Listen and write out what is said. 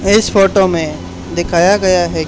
इस फोटो में दिखाया गया हैं।